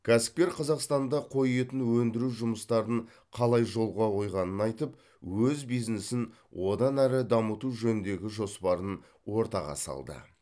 кәсіпкер қазақстанда қой етін өндіру жұмыстарын қалай жолға қойғанын айтып өз бизнесін одан әрі дамыту жөніндегі жоспарын ортаға салды